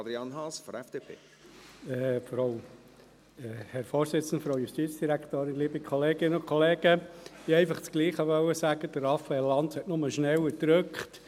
Ich wollte das Gleiche sagen, nur hat Raphael Lanz schneller gedrückt.